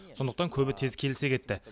сондықтан көбі тез келісе кетті